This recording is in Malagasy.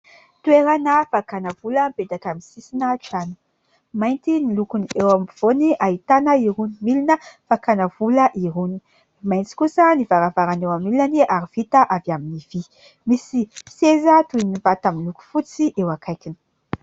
Toerana fakana vola mipetaka amin'ny sisina trano. Mainty ny lokony eo ampovoany ahitana irony milina fakana vola irony. Maitso kosa nivaravarana eo amin'ny ilany ary vita avy amin'ny vy, misy seza toy vata miloko fotsy eo akaikiny.